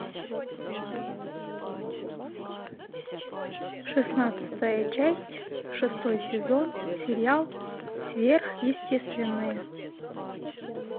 шестнадцатая часть шестой сезон сериал сверхъестественное